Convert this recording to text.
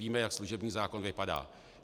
Víme, jak služební zákon vypadá.